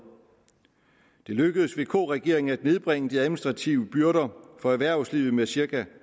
det lykkedes vk regeringen at nedbringe de administrative byrder for erhvervslivet med cirka